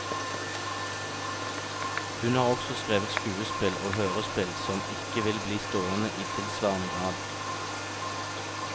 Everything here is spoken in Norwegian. Hun har også skrevet skuespill og hørespill som ikke vil bli stående i tilsvarende grad.